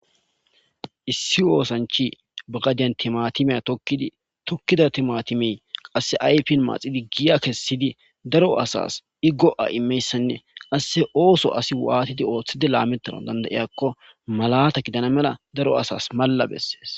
issi oosanchi bagadiyan timatimey tokkida timatimey qasse aypin maaxidi giya kessidi daro asas i go7a imeyssanne asse ooso asi waatidi ooththide laametaran dandayiyakko malata gidana mela daro asas malla bessees